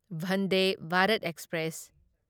Vande Bharat express